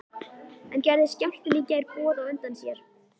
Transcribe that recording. En gerði skjálftinn í gær boð á undan sér?